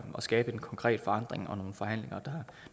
skabe en konkret forandring og nogle forhandlinger